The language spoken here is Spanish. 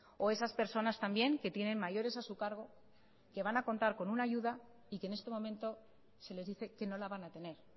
o esas personas también que tienen mayores a su cargo que van a contar con una ayuda y que en este momento se les dice que no la van a tener